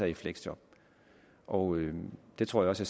i fleksjob og jeg tror også